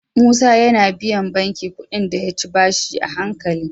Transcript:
Musa yAna biyan banki kuɗin da yayi bashi a hankali